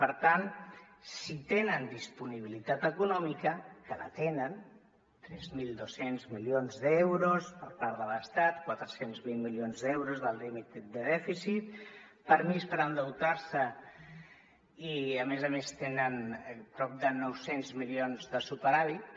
per tant si tenen disponibilitat econòmica que la tenen tres mil dos cents milions d’euros per part de l’estat quatre cents i vint milions d’euros del límit de dèficit permís per endeutar se i a més a més tenen prop de nou cents milions de superàvit